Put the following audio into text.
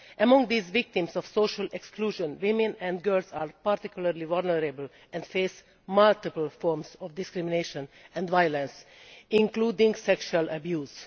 Among these victims of social exclusion, women and girls are particularly vulnerable and face multiple forms of discrimination and violence, including sexual abuse.